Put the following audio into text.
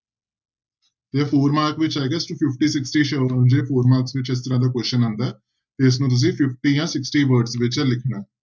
ਇਹ four mark ਵਿੱਚ ਆਏਗਾ ਅਸੀਂ fifty sixty four marks ਵਿੱਚ ਇਸ ਤਰ੍ਹਾਂ ਦਾ question ਆਉਂਦਾ ਹੈ ਤੇ ਇਸਨੂੰ ਤੁਸੀਂ fifty ਜਾਂ sixty word ਦੇ ਵਿੱਚ ਲਿਖਣਾ ਹੈ।